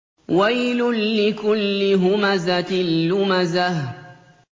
وَيْلٌ لِّكُلِّ هُمَزَةٍ لُّمَزَةٍ